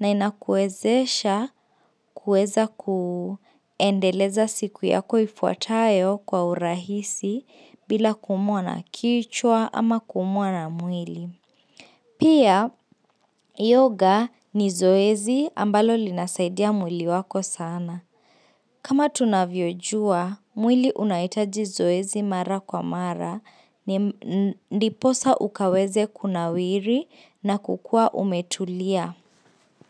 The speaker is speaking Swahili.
na inakuezesha kueza kuendeleza siku yako ifuatayo kwa urahisi bila kuumwa na kichwa ama kuumwa na mwili. Pia yoga ni zoezi ambalo linasaidia mwili wako sana. Kama tunavyojua, mwili unaitaji zoezi mara kwa mara ni ndiposa ukaweze kunawiri na kukua umetulia.